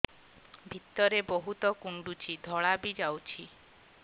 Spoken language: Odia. ଭିତରେ ବହୁତ କୁଣ୍ଡୁଚି ଧଳା ବି ଯାଉଛି